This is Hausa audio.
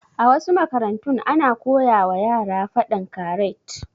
A wasu makarantun ana koyawa yara faɗan karat